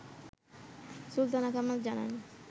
সুলতানা কামাল জানান